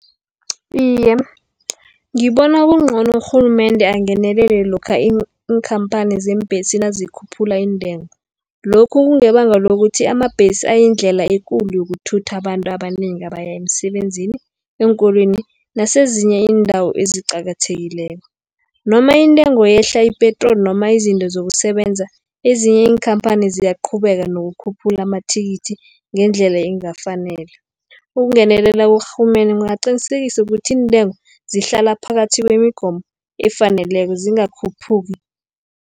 Iye, ngibona kungcono urhulumende angenelele lokha iinkhamphani zeembhesi nazikhuphula iintengo. Lokhu kungebanga lokuthi amabhesi ayindlela ekulu yokuthutha abantu abanengi abaya emisebenzini, eenkolweni nasezinye iindawo eziqakathekileko. Noma intengo iyehla ipetroli, noma izinto zokusebenza, ezinye iinkhamphani ziyaqhubeka nokukhuphula amathikithi ngendlela engakafaneli. Ukungenelela kukarhulumende kungaqinisekisa ukuthi intengo zihlala phakathi kwemigomo efaneleko zingakhuphuki.